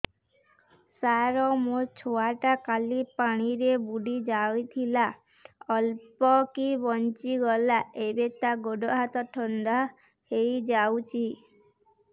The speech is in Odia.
ସାର ମୋ ଛୁଆ ଟା କାଲି ପାଣି ରେ ବୁଡି ଯାଇଥିଲା ଅଳ୍ପ କି ବଞ୍ଚି ଗଲା ଏବେ ତା ଗୋଡ଼ ହାତ ଥଣ୍ଡା ହେଇଯାଉଛି